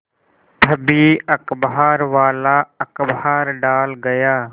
तभी अखबारवाला अखबार डाल गया